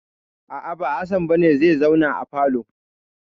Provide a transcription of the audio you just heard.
A'a, ba Hassan ba ne zai zauna a falo.